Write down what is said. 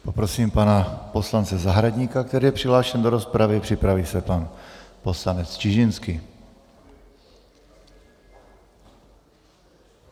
Poprosím pana poslance Zahradníka, který je přihlášen do rozpravy, připraví se pan poslanec Čižinský.